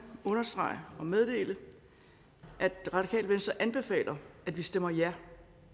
understrege og meddele at det radikale venstre anbefaler at vi stemmer ja